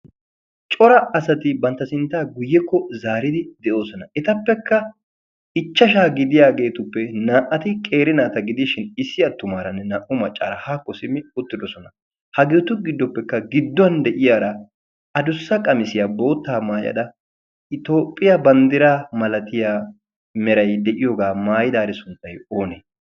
Cora asati bantta sinttaa guyyekko zaaridi de'oosona. etappekka ichchashshaa gidiyageetuppe naa''ati qeeri naata gidishin issi attumaara naa''u maccaara haakko simmi uttidoosona. hageetu giddoppekka gidduwan addussa qamissiya botta maayyada Itoophiyaa banddiray meray de'iyooga maayyidaari sunttay oone?